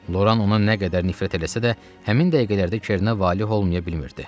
Loran ona nə qədər nifrət eləsə də, həmin dəqiqələrdə Kernə valeh olmayıb bilmirdi.